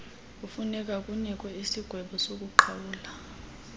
kufunekwa kunikwe isigwebosokuqhawula